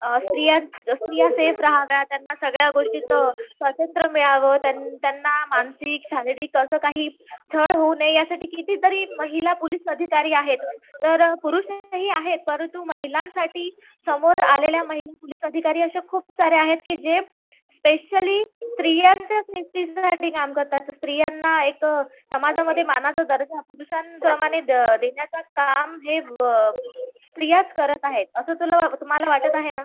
अ स्त्रिया सेफ राहाव्या त्यांना सगळ्या गोष्टीत स्वतंत्र मिळावं त्यांना मानसिक शारीरिक असं काही छळ होऊ नये यासाठी कितीतरी महिला पोलीस अधिकारी आहेत. तर पुरुषही आहेत परंतु महिलांसाठी समोर आलेल्या महिला पोलीस अधिकारी खूप साऱ्या आहेत जे स्पेशली जे स्त्रियांच्या सेफटिसाठी काम करतात स्त्रियांन एक समाजामध्ये मानाचा दर्जा पुरुषांप्रमाणे देण्याच काम हे स्त्रियांचं करत आहेत असं तुला तुम्हाला वाटत आहे ना?